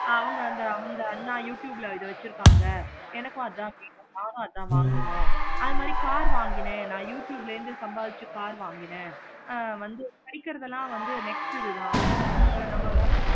அவங்க அந்த அவங்க youtube ல இத வச்சிருக்காங்க எனக்கு அதான் வேணும். நானும் அதன் வாங்குவேன். அது மாதிரி car வாங்கினேன். நா youtube ல இருந்து சம்பாதிச்சு car வாங்கினேன். ஆஹ் வந்து படிக்குறதுனா வந்து next இது தான் இவுங்கள